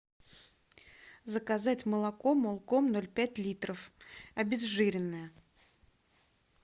заказать молоко молком ноль пять литров обезжиренное